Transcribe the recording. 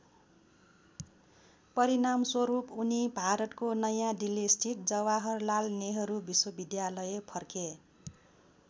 परिणामस्वरूप उनी भारतको नयाँदिल्लीस्थित जवाहरलाल नेहरू विश्वविद्यालय फर्के।